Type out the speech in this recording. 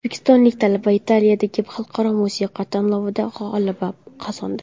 O‘zbekistonlik talaba Italiyadagi xalqaro musiqa tanlovida g‘alaba qozondi.